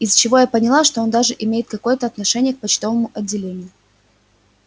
из чего я поняла что он также имеет какое-то отношение к почтовому отделению